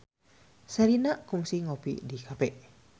Sherina kungsi ngopi di cafe